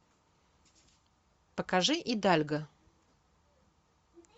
покажи идальго